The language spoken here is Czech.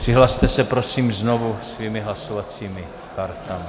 Přihlaste se, prosím, znovu svými hlasovacími kartami.